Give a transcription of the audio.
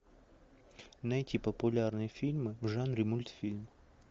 найти популярные фильмы в жанре мультфильм